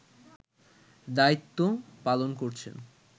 দায়িত্ব পালন করছেন